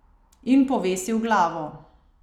In povesil glavo.